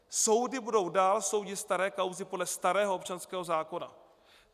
Soudy budou dál soudit staré kauzy podle starého občanského zákona.